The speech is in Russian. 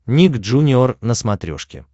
ник джуниор на смотрешке